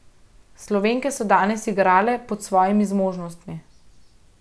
Slovenke so danes igrale pod svojimi zmožnostmi.